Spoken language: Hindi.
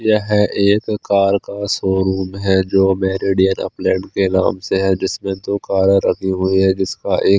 यह एक कार का शोरूम है जो मैरेड एरोप्लेन के नाम से है जिसमें दो कार रखी हुई है जिसका एक--